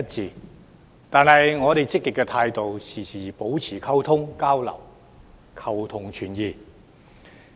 儘管如此，我們抱持積極態度，時刻保持溝通交流，求同存異。